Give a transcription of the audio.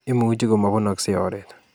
Imuchi komobunokse oret